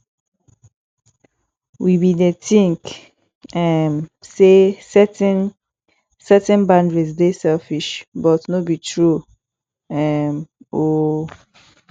we bin dey tink um sey setting setting boundaries dey selfish but no be true um o